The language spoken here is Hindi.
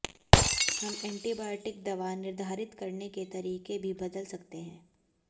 हम एंटीबायोटिक दवा निर्धारित करने के तरीके भी बदल सकते हैं